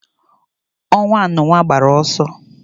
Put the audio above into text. Onwa anu nwa gbara oso